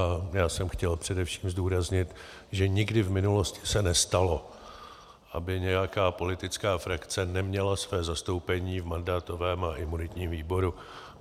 A já jsem chtěl především zdůraznit, že nikdy v minulosti se nestalo, aby nějaká politická frakce neměla své zastoupení v mandátovém a imunitním výboru.